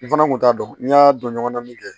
N fana kun t'a dɔn n y'a don ɲɔgɔn na min kɛ